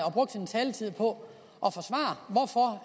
og brugt sin taletid på